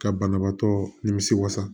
Ka banabaatɔ nimisi wasa